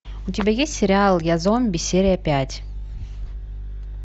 у тебя есть сериал я зомби серия пять